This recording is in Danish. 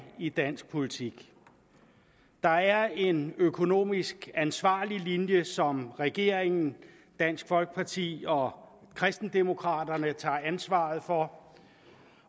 i dansk politik der er en økonomisk ansvarlig linje som regeringen dansk folkeparti og kristendemokraterne tager ansvaret for